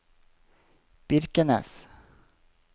Birkenes